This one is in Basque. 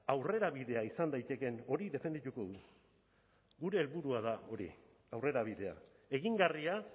aurrerabidea izan daitekeen hori defendituko dugu gure helburua da hori aurrerabidea egingarria